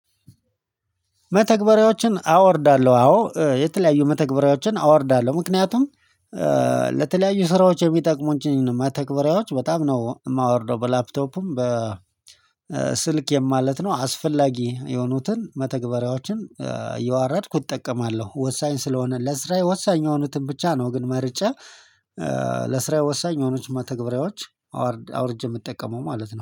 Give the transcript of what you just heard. መተግበሪያዎችን አወርዳለሁ አዎ የተለያዩ መተግበሪያዎችን አወርዳለሁ። ምክንያቱም ስራዎች የሚጠቅሙኝን ነው። መተግበሪያዎች በጣም ነው የማወርደው። በላፕቶፕም በ ስል የማለት ነው አስፈላጊ የሆኑትን መተግበሪያዎችን የዋረድኩ እጠቀማለሁ። ወሳኝ ስለሆነ ለስራዬ ወሳኝ የሆኑትን ብቻ ነው። ግን መርጬ ለስራዬ ወሳኝ የሆኑት መተግብሪያዎች አውርጄ የምትጠቀመው ማለት ነው